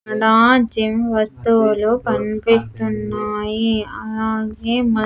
and ఆ gym వస్తువులు కనిపిస్తున్నాయి అలాగే మద్ --